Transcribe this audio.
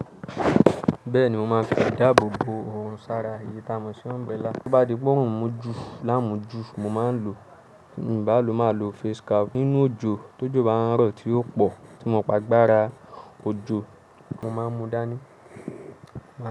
Bẹ́ẹ̀ni, mo máa ń fi ìdáàbò bo òòrùn sára eyi tà mo sí umbrella. Bo bá di pé òòrùn mú ju láàmú ju, mo máa ń lo, tí mii bálò máa lo face cap. Nínú òjò, tó jo bá ń rọ̀, tí ó pọ̀ tí mo mo pé gbára òjò, mo máa ń mú dání.